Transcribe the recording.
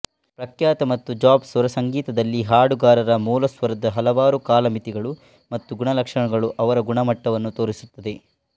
ಪ್ರಖ್ಯಾತ ಮತ್ತು ಜಾಜ್ ಸ್ವರಸಂಗೀತದಲ್ಲಿ ಹಾಡುಗಾರರ ಮೂಲಸ್ವರದ ಹಲವಾರು ಕಾಲಮಿತಿಗಳು ಮತ್ತು ಗುಣಲಕ್ಷಣಗಳು ಅವರ ಗುಣಮಟ್ಟವನ್ನು ತೋರಿಸುತ್ತದೆ